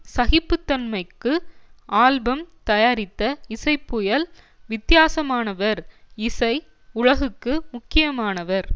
சகிப்புத்தன்மைக்கு album தயாரித்த இசைப்புயல் வித்தியாசமானவர் இசை உலகுக்கு முக்கியமானவர்